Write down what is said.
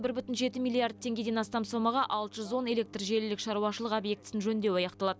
бір бүтін жеті миллиард теңгеден астам сомаға алты жүз он электр желілік шаруашылық объектісін жөндеу аяқталады